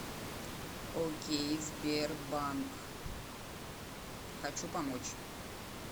окей сбербанк хочу помочь